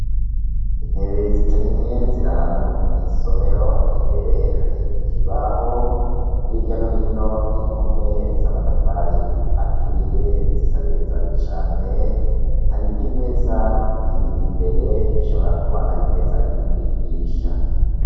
Intebe zitari nke ziri ahantu mw'isomero, imbere hari ikibaho, hirya no hino impome z'amatafari aturiye. Intebe zisa neza cane. Hari n'imeza imbere ishobora kuba ari imeza y'umwigisha.